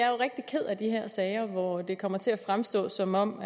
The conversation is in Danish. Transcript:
er rigtig ked af de her sager hvor det kommer til at fremstå som om